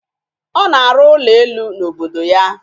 Ọ na-arụ ụlọ elu n'obodo ya.